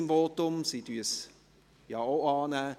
er nimmt diesen Antrag ja auch an.